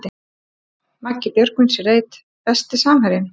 Maggi Björgvins í reit Besti samherjinn?